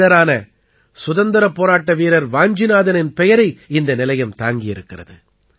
தமிழரான சுதந்திரப் போராட்ட வீரர் வாஞ்சிநாதனின் பெயரை இந்த நிலையம் தாங்கி இருக்கிறது